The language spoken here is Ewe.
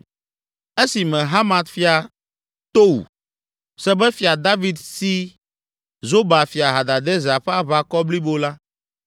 Esime Hamat fia Tou se be Fia David si Zoba fia Hadadezer ƒe aʋakɔ blibo la,